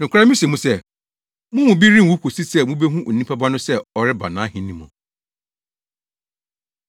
“Nokware mise mo sɛ: Mo mu bi renwu kosi sɛ mubehu Onipa Ba no sɛ ɔreba nʼahenni mu.”